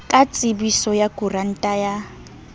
ka tsebiso ya koranta ya